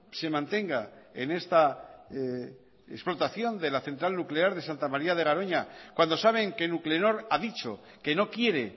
se mantenga en esta explotación de la central nuclear de santa maría de garoña cuando saben que nuclenor ha dicho que no quiere